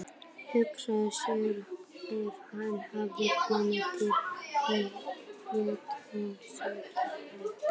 Hugsa sér ef hann hefði komið til mín, lét hún sig dreyma.